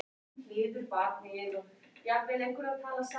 Og eru margir búnir að kaupa?